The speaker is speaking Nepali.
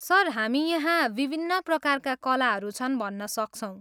सर, हामी यहाँ विभिन्न प्रकारका कलाहरू छन् भन्न सक्छौँ।